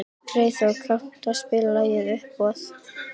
Freyþór, kanntu að spila lagið „Uppboð“?